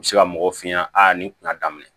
U bɛ se ka mɔgɔw f'i ɲɛna a ni kuma daminɛ